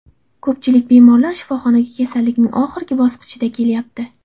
Ko‘pchilik bemorlar shifoxonaga kasallikning oxirgi bosqichida kelyapti.